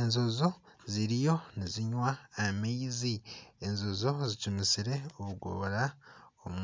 Enjojo ziriyo nizinywa amaizi. Enjojo zicumisire orugorora omu